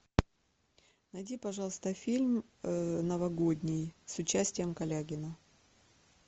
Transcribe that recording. найди пожалуйста фильм новогодний с участием калягина